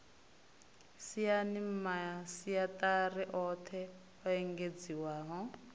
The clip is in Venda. saina masiaṱari oṱhe o engedziwaho